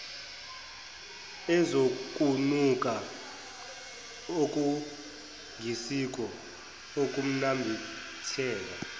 ezokunuka okungesikho ukunambitheka